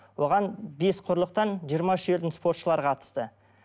оған бес құрылықтан жиырма үш елдің спортшылары қатысты